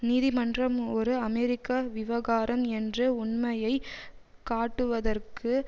நீதிமன்றம் ஒரு அமெரிக்க விவகாரம் என்ற உண்மையை காட்டுவதற்கு